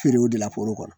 Feerew de la foro kɔnɔ